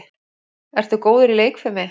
Ertu góður í leikfimi?